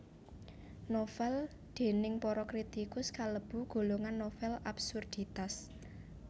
Novèl déning para kritikus kalebu golongan novèl absurditas